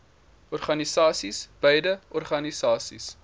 organisasies beide organisasies